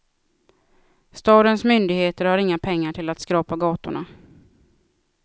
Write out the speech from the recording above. Stadens myndigheter har inga pengar till att skrapa gatorna.